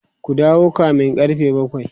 ku dawo kamin karfe bakwai!